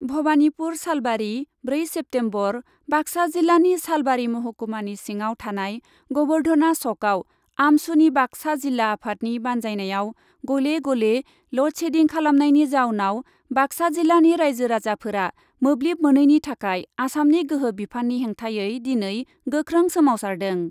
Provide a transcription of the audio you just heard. भबानिपुर सालबारि, ब्रै सेप्टेम्बर बाक्सा जिल्लानि सालबारि महकुमानि सिङाव थानाय गबर्धना सकआव आमसुनि बाक्सा जिल्ला आफादनि बान्जायनायाव गले गले ल'ड सेडिं खालामनायनि जाउनाव बाक्सा जिल्लानि राइजो राजाफोरा मोब्लिब मोनैनि थाखाय आसामनि गोहो बिफाननि हेंथायै दिनै गोख्रों सोमावसारदों।